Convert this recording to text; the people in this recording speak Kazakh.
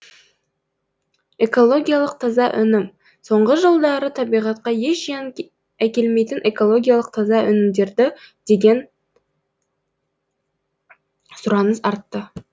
экологиялық таза өнім соңғы жылдары табиғатқа еш зиян әкелмейтін экологиялық таза өнімдерге деген сұраныс артты